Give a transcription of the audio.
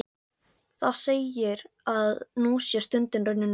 Það segir, að nú sé stundin runnin upp.